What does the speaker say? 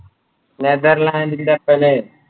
Netherland